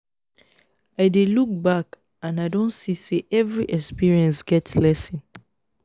i dey look back and and i don see say every experience get lesson